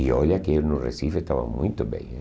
E olha que eu no Recife estava muito bem.